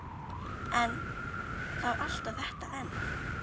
En- það var alltaf þetta en.